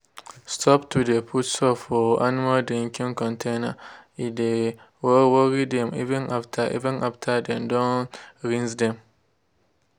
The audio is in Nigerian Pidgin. stop to de put soap for animal drinking container_e de worry dem even after even after dem don rinse dem.